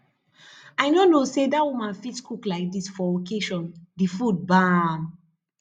i no know say that woman fit cook like dis for occasion the food bam